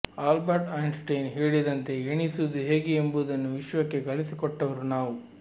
Albert Einstein ಹೇಳಿದಂತೆ ಎಣಿಸುವುದು ಹೇಗೆ ಎಂಬುದನ್ನು ವಿಶ್ವಕ್ಕೆ ಕಲಿಸಿಕೊಟ್ಟವರು ನಾವು